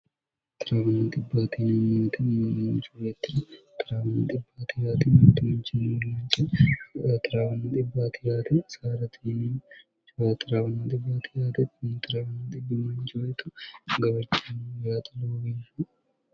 10mmmcwt 10mcc0 stnc01ncyito gabarchienni yaxo loowi